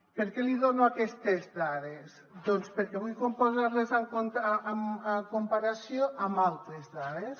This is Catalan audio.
per què li dono aquestes dades doncs perquè vull posar les en comparació amb altres dades